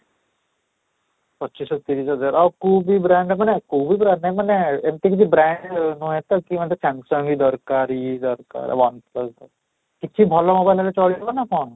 ପଚିଶ ଆଉ ତିରିଶ ଯାହାର ଆଉ କୋଉ ବି brand ମାନେ କୋଉ brand ମାନେ ଏମିତି କିଛି brand ନୁହେଁ ତ କି ମୋତେ Samsung ହିଁ ଦରକାର ଏଇ ଦରକାର one plus କିଛି ଭଲ mobile ହେଲେ ଚାଲିବ ନା କ'ଣ?